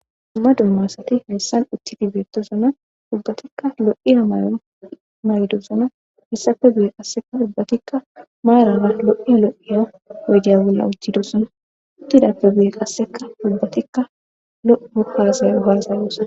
Dumma dumma asati haysan uttidi beetosona. Ubbatika uttidi beetosona. Haysape guyen qasseka ubbatika maarara lo'iya oydiya bolla uttidosonape guyen ubbatika lo'o haasaya haasayoosona.